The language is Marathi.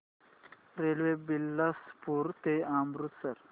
रेल्वे बिलासपुर ते अमृतसर